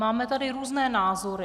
Máme tady různé názory.